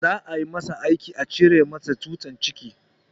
Za a masa aiki a cire masa tsutsar ciki